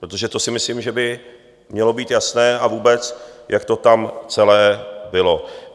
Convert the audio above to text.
Protože to si myslím, že by mělo být jasné, a vůbec, jak to tam celé bylo.